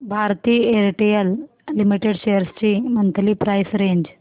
Bharti Airtel limited shares ची monthly price range